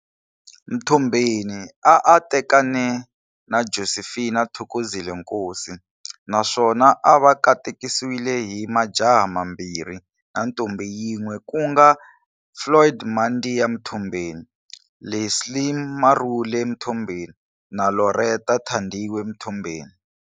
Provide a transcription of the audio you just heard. Mtombeni a a tekane na Josephine Thokozile Nkosi naswona a va katekisiwe hi majaha mambirhi na ntombhi yin'we kunga-Floyd Mandia Mthombeni, Leslie Marhule Mtombeni na Lauretta Thandiwe Mtombeni.